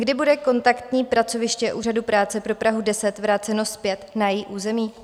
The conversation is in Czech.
Kdy bude kontaktní pracoviště úřadu práce pro Prahu 10 vráceno zpět na její území?